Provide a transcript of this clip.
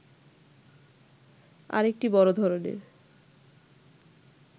আরেকটি বড় ধরনের